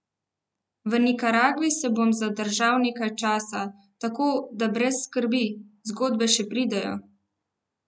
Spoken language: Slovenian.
V Nikaragvi se bom zadržal nekaj časa, tako da brez skrbi, zgodbe še pridejo!